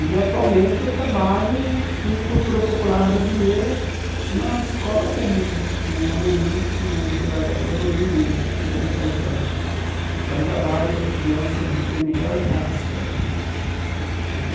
E atualmente eu trabalho com cultura popular brasileira numa escola pública, no Amorim, no desembargador Amorim Lima, aqui no Butantã, que é um trabalho para crianças de primeira a oitava série.